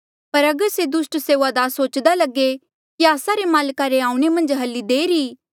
पर अगर से दुस्ट सेऊआदार सोच्दा लगे कि आस्सा रे माल्क रे आऊणें मन्झ हली देर ई